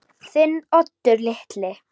Þinn Oddur litli.